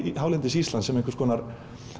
hálendis Íslands sem einhvers konar